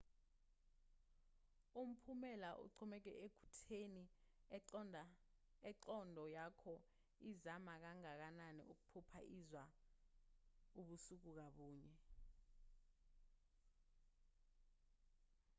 umphumela uxhomeke ekutheni ingqondo yakho izama kangakanani ukuphupha izwa ubusuku ngabunye